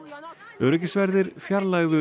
öryggisverðir fjarlægðu